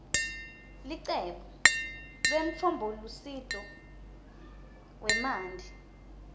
licebo lemtfombolusito wemanti